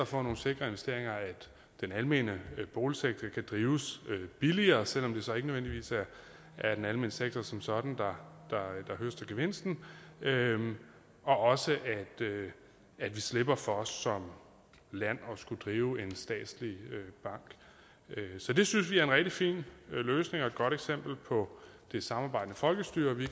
få nogle sikre investeringer at den almene boligsektor kan drives billigere selv om det så ikke nødvendigvis er den almene sektor som sådan der høster gevinsten og at vi slipper for som land at skulle drive en statslig bank så det synes vi er en rigtig fin løsning og et godt eksempel på det samarbejdende folkestyre og vi